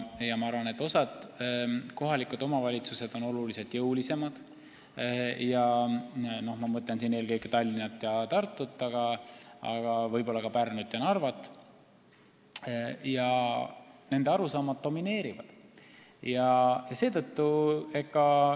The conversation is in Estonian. Ma arvan, et osa kohalikke omavalitsusi on oluliselt jõulisemad – ma mõtlen siin eelkõige Tallinna ja Tartut, aga võib-olla ka Pärnut ja Narvat – ja nende arusaamad domineerivad.